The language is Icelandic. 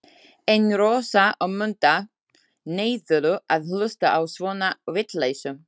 En Rósa og Munda neituðu að hlusta á svona VITLEYSU.